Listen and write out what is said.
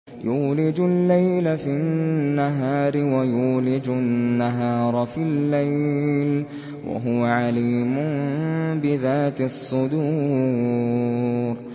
يُولِجُ اللَّيْلَ فِي النَّهَارِ وَيُولِجُ النَّهَارَ فِي اللَّيْلِ ۚ وَهُوَ عَلِيمٌ بِذَاتِ الصُّدُورِ